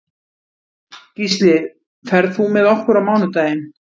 Gísli, ferð þú með okkur á mánudaginn?